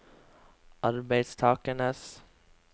arbeidstakernes